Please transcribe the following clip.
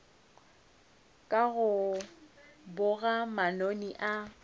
ka go boga manoni a